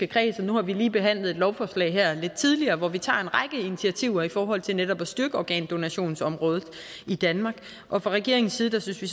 kreds og nu har vi lige behandlet et lovforslag her lidt tidligere hvor vi tager en række initiativer i forhold til netop at styrke organdonationsområdet i danmark og fra regeringens side synes vi